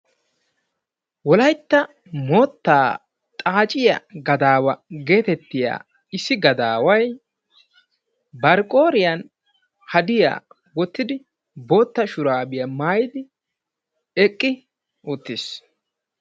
Wolaytta moottaa xaaciya gadaawa getettiya issi gadaaway bari qooriyaan hadiya wottidi boottaa shurabiya maayyidi eqqi uttiis.